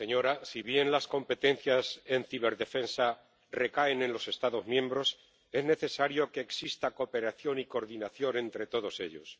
Señora presidenta, si bien las competencias en ciberdefensa recaen en los Estados miembros, es necesario que exista cooperación y coordinación entre todos ellos.